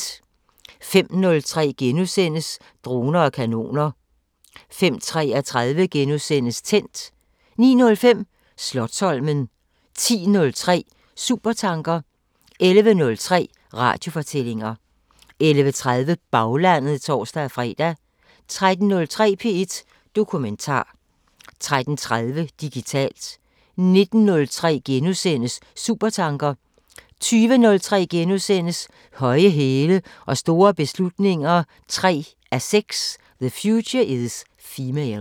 05:03: Droner og kanoner * 05:33: Tændt * 09:05: Slotsholmen 10:03: Supertanker 11:03: Radiofortællinger 11:30: Baglandet (tor-fre) 13:03: P1 Dokumentar 13:30: Digitalt 19:03: Supertanker * 20:03: Høje hæle og store beslutninger 3:6 – The future is female *